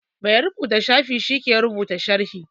Mai rubuta shafi shi ke rubuta sharhi